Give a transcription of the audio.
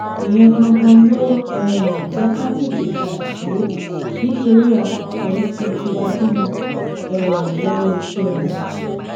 ìyẹn ganan ló um jẹ ká tètè padà sílé nítorí a kò fẹẹ fi tiwa dí wọn um lọwọ iṣẹ wọn